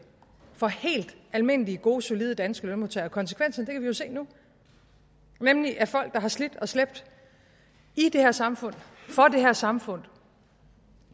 for helt almindelige gode solide danske lønmodtagere konsekvensen kan vi jo se nu nemlig at folk der har slidt og slæbt i det her samfund og her samfund